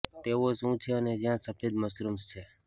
તેઓ શું છે અને જ્યાં સફેદ મશરૂમ્સ છે